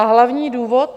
A hlavní důvod?